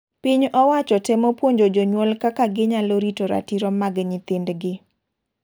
Piny owacho temo puonjo jonyuol kaka ginyalo rito ratiro mag nyithind gi.